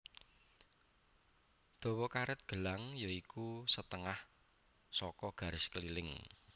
Dawa karet gelang ya iku setengah saka garis keliling